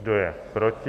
Kdo je proti?